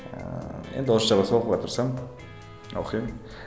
ыыы енді орысша болса оқуға тырысамын оқимын